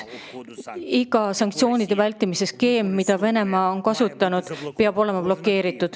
Kõik sanktsioonide vältimise skeemid, mida Venemaa on kasutanud, tuleb blokeerida.